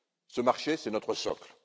Ce marché, c'est notre socle.